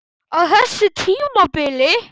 Á þessu tímabili?